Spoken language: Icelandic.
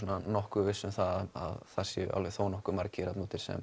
nokkuð viss um það að það séu þó nokkuð margir þarna úti sem